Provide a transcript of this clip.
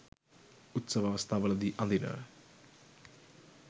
උත්සව අවස්ථාවලදී අඳින